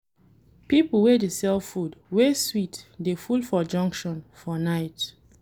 Pipo wey dey sell food wey sweet dey full for junction for night.